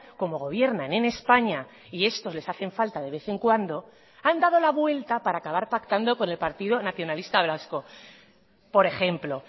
como gobiernan en españa y estos les hacen falta de vez en cuando han dado la vuelta para acabar pactando con el partido nacionalista vasco por ejemplo